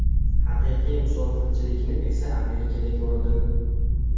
Haqiqiy musofirchilikni esa Amerikada ko‘rdim.